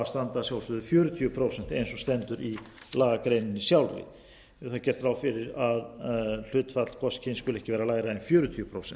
að standa að sjálfsögðu fjörutíu prósent eins og stendur í lagagreininni sjálfri er þar gert ráð fyrir að hlutfall hvors kyns skuli ekki vera lægra en fjörutíu prósent